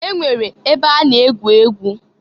E nwere ebe a na-egwu egwu.